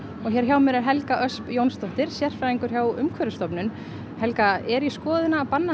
hér hjá mér er Helga Ösp Jónsdóttir sérfræðingur hjá Umhverfisstofnun helga er í skoðun að banna